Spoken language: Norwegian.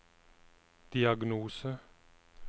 diagnose